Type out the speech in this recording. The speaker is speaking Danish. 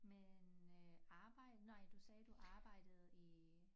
Men øh arbejde nej du sagde du arbejdede i